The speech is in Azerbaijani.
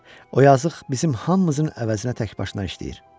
O yazıq bizim hamımızın əvəzinə tək başına işləyir.